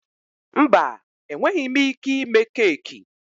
Mba, enweghị m ike ime keeki.